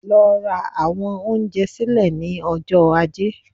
Lọ ra àwọn oúnjẹ sílẹ̀ ní ọjọ́ Ajé